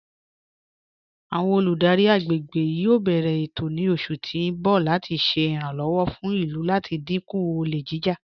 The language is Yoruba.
Awọn olùdárí agbègbè yóò bẹ̀rẹ̀ ètò ní oṣù tí n bọ̀ láti ṣè iràǹlọ́wọ̀ fún ilú láti dínkú ọ̀lẹ̀ jijá.